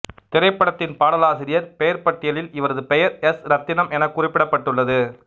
திரைப்படத்தின் பாடலாசிரியர் பெயர்ப் பட்டியலில் இவரது பெயர் எஸ் இரத்தினம் எனக் குறிப்பிடப்பட்டுள்ளது